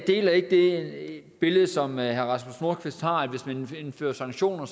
deler ikke det billede som herre rasmus nordqvist har med at hvis man indfører sanktioner